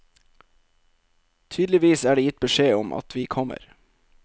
Tydeligvis er det gitt beskjed om at vi kommer.